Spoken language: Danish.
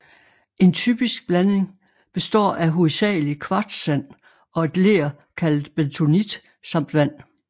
En typisk blanding består af hovedsagelig kvartssand og et ler kaldet bentonit samt vand